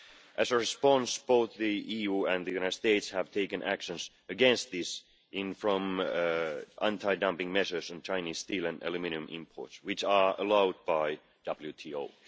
As a response, both the EU and the United States have taken action against this in the form of anti dumping measures on Chinese steel and aluminium imports, which are allowed by the WTO.